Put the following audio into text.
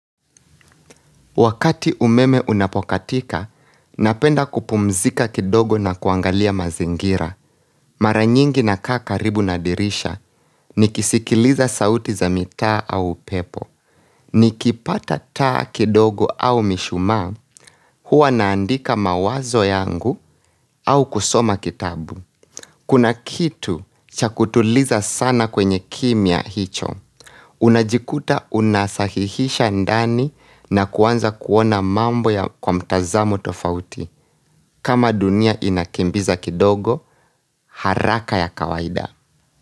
Wakati umeme unapokatika, napenda kupumzika kidogo na kuangalia mazingira. Maranyingi na kaa karibu na dirisha, nikisikiliza sauti za mitaa au pepo. Nikipata taa kidogo au mishumaa, huwa naandika mawazo yangu au kusoma kitabu. Kuna kitu chakutuliza sana kwenye kimya hicho. Unajikuta unasahihisha ndani na kuanza kuona mambo kwa mtazamu tofauti. Kama dunia inakimbiza kidogo, haraka ya kawaida.